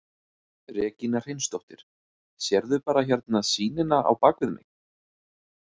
Regína Hreinsdóttir: Sérðu bara hérna sýnina á bakvið mig?